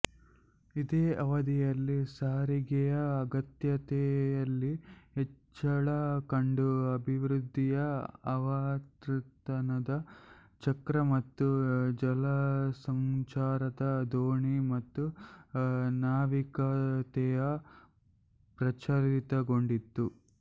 ಇದೇ ಅವಧಿಯಲ್ಲಿ ಸಾರಿಗೆಯ ಅಗತ್ಯತೆಯಲ್ಲಿ ಹೆಚ್ಚಳ ಕಂಡು ಅಭಿವೃದ್ಧಿಯ ಆವರ್ತನದ ಚಕ್ರ ಮತ್ತು ಜಲಸಂಚಾರದ ಡೋಣಿ ಮತ್ತು ನಾವಿಕತೆಯು ಪ್ರಚಲಿತಗೊಂಡಿತು